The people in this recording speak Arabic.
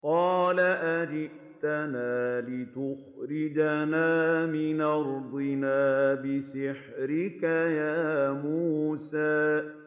قَالَ أَجِئْتَنَا لِتُخْرِجَنَا مِنْ أَرْضِنَا بِسِحْرِكَ يَا مُوسَىٰ